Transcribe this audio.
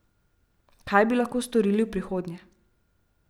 Kaj bi lahko storili v prihodnje?